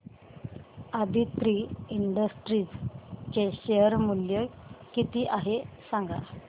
Aditri industries चे share मूल्य किती आहे सांगा